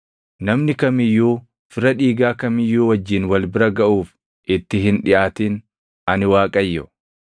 “ ‘Namni kam iyyuu fira dhiigaa kam iyyuu wajjin wal bira gaʼuuf itti hin dhiʼaatin; ani Waaqayyo.